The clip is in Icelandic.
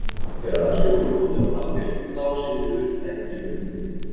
Þegar allir voru komnir á lappir lá Sigríður enn í öngviti.